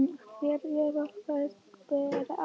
En hver eða hverjir bera